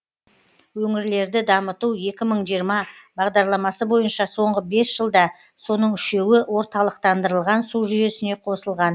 өңірлерді дамыту екі мың жиырма бағдарламасы бойынша соңғы бес жылда соның үшеуі орталықтандырылған су жүйесіне қосылған